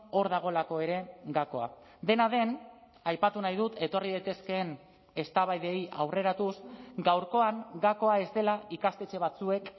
hor dagoelako ere gakoa dena den aipatu nahi dut etorri daitezkeen eztabaidei aurreratuz gaurkoan gakoa ez dela ikastetxe batzuek